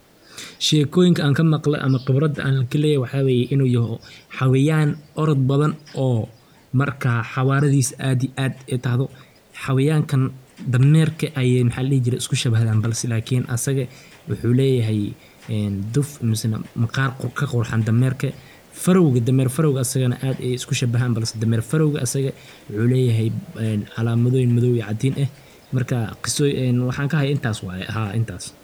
Sheekoyinka anka maqle ama khibrada an kaleyahay waxa weye jnu yoho xawayaan orod badan oo marka xawaaradis aad iyo aad ay tahdo, xawaayanka m dameerka maxa ladhihi jire ayay aad isku shabahan balse lakin asaga wuxuu leyahay duf misane maqar ka qurxan dameerke, farowga dameer farowga asagana aad ayay isku shabahan balse dameer farowg asaga wuxuu leyahay calamadoyin madoow iyo Cadiin eh marka waxan kahaayo intaas waye intaas